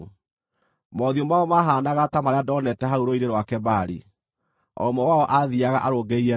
Mothiũ mao maahaanaga ta marĩa ndoonete hau Rũũĩ-inĩ rwa Kebari. O ũmwe wao aathiiaga arũngĩrĩirie na mbere.